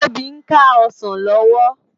Tobi n ká òsán lòwò